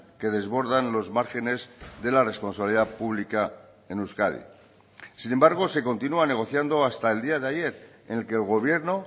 que desbordan los márgenes de la responsabilidad pública en euskadi sin embargo se continua negociando hasta el día de ayer en el que el gobierno